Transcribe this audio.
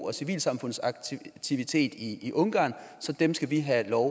og civilsamfundsaktivitet i i ungarn så dem skal vi have lov